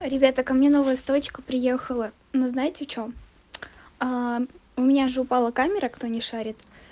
ребята ко мне новая стоечка приехала но знаете в чём у меня же упала камера кто не шарит